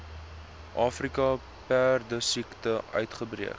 afrika perdesiekte uitgebreek